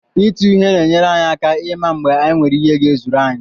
Ịtụ ihe na-enyere anyị aka ịma mgbe anyị nwere ihe ga-ezuru anyị.